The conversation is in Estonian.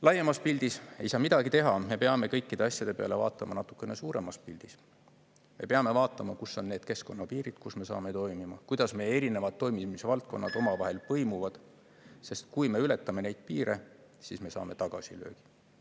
Laiemas pildis – ei saa midagi teha, me peame kõikide asjade peale vaatama natuke suuremas pildis – me peame vaatama, kus on need keskkonnapiirid, mille vahel me toimime, kuidas meie erinevad toimimise valdkonnad omavahel põimuvad, sest kui me ületame neid piire, siis me saame tagasilöögi.